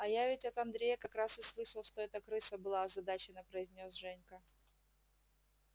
а я ведь от андрея как раз и слышал что это крыса была озадаченно произнёс женька